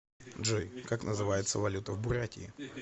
джой как называется валюта в бурятии